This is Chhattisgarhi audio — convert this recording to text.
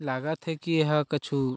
लागत हे की यह कुछु--